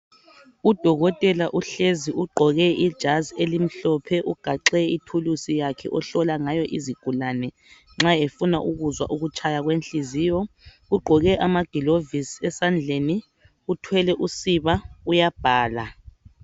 udokotela uhlezi ugqoke ijazi elimhlophe ugaxe ithuluzi yakhe ohlola ngayo izigulane nxa efuna ukuzwa ukutshaya kwenhliziyo ugqoke amagilovisi esandleni uthwele usiba uyabhala